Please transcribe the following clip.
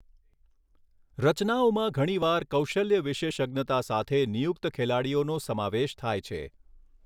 રચનાઓમાં ઘણીવાર કૌશલ્ય વિશેષજ્ઞતા સાથે નિયુક્ત ખેલાડીઓનો સમાવેશ થાય છે.